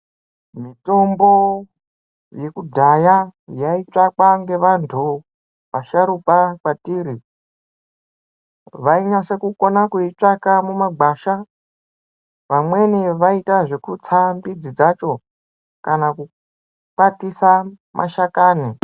Mitombo yekudhaya yaitsvakwa ngevantu vasharukwa kwatiri, vainyasa kukona kuitsvaka mumagwasha vamweni vaiita zvekutsa mbidzi dzacho kana kukwatisa mashakani.